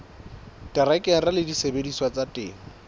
terekere le disebediswa tsa temo